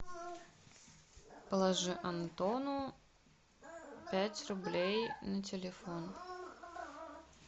положи антону пять рублей на телефон